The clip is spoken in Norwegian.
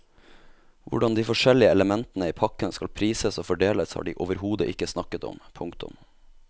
Hvordan de forskjellige elementene i pakken skal prises og fordeles har de overhodet ikke snakket om. punktum